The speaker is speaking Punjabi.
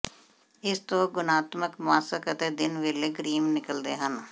ਇਸ ਤੋਂ ਗੁਣਾਤਮਕ ਮਾਸਕ ਅਤੇ ਦਿਨ ਵੇਲੇ ਕਰੀਮ ਨਿਕਲਦੇ ਹਨ